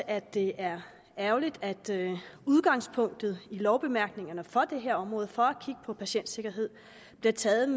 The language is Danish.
at det er ærgerligt at udgangspunktet i lovbemærkningerne for det her område for at kigge på patientsikkerhed bliver taget